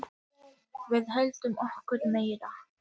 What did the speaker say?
Við ætlum okkur meira.